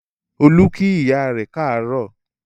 Olú kí ìyá rẹ káàárọ̀